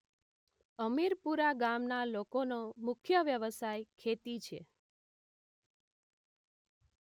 અમીરપુરા ગામના લોકોનો મુખ્ય વ્યવસાય ખેતી છે